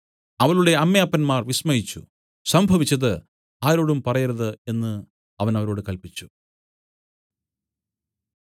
അവളുടെ അമ്മയപ്പന്മാർ വിസ്മയിച്ചു സംഭവിച്ചത് ആരോടും പറയരുത് എന്നു അവൻ അവരോട് കല്പിച്ചു